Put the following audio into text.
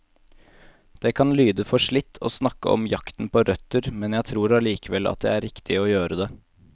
Det kan lyde forslitt å snakke om jakten på røtter, men jeg tror allikevel at det er riktig å gjøre det.